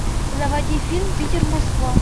заводи фильм питер москва